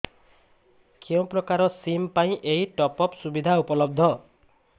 କେଉଁ ପ୍ରକାର ସିମ୍ ପାଇଁ ଏଇ ଟପ୍ଅପ୍ ସୁବିଧା ଉପଲବ୍ଧ